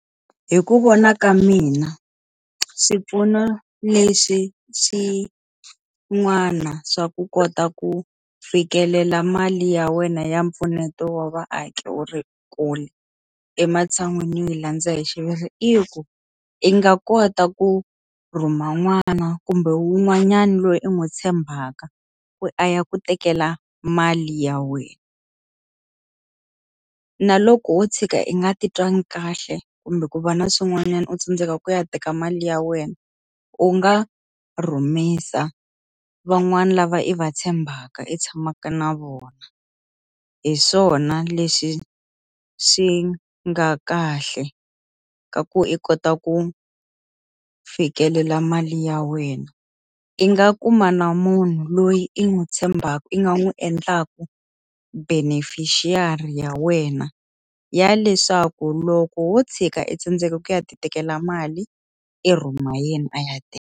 Hi ku vona ka mina, xipfuno lexi xin'wana swa ku kota ku fikelela mali ya wena ya mpfuneto wa vaaki u ri kule, ematshan'wini yo yi landza hi xiviri i ku, i nga kota ku rhuma n'wana kumbe wun'wanyana loyi u n'wi tshembaka ku a ya ku tekela mali ya wena. Na loko wo tshuka i nga titwangi kahle kumbe ku va na swin'wanyana u tsandzeka ku ya teka mali ya wena, u nga rhumisa van'wana lava i va tshembaka i tshamaka na vona. Hi swona leswi swi nga kahle, ka ku i kota ku fikelela mali ya wena. I nga kuma na munhu loyi i n'wi tshembaka i nga n'wi endlaku beneficiary ya wena, ya leswaku loko wo tshika e tsandzeka ku ya ti tekela mali i rhuma a yena a ya teka.